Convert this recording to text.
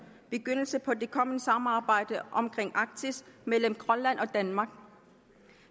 begyndelse på det kommende samarbejde omkring arktis mellem grønland og danmark